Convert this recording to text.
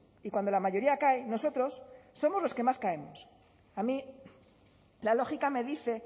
y cuando la mayoría cae nosotros somos los que más caemos a mí la lógica me dice